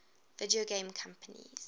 video game companies